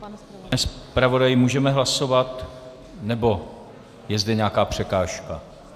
Pane zpravodaji, můžeme hlasovat, nebo je zde nějaká překážka?